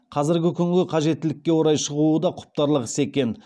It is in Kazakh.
қазіргі күнгі қажеттілікке орай шығуы да құптарлық іс екен